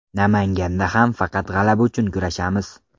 Namanganda ham faqat g‘alaba uchun kurashamiz.